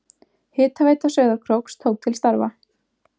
Hitaveita Sauðárkróks tók til starfa.